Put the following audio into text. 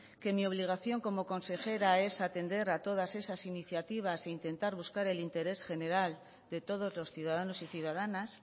que mi obligación como consejera es atender a todas esas iniciativas e intentar buscar el interés general de todos los ciudadanos y ciudadanas